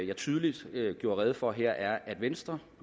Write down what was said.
jeg tydeligt gjorde rede for her er at venstre